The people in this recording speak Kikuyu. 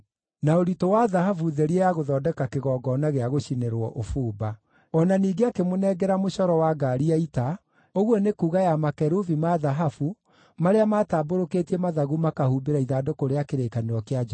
na ũritũ wa thahabu therie ya gũthondeka kĩgongona gĩa gũcinĩrwo ũbumba. O na ningĩ akĩmũnengera mũcoro wa ngaari ya ita, ũguo nĩ kuuga ya makerubi ma thahabu marĩa maatambũrũkĩtie mathagu makahumbĩra ithandũkũ rĩa kĩrĩkanĩro kĩa Jehova.